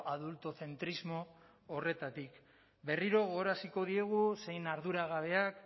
adultocentrismo horretatik berriro gogoraraziko diegu zein arduragabeak